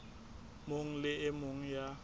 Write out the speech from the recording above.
mong le e mong ya